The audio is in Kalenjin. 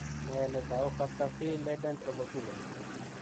Nee netau Factor V Leiden thrombophilia?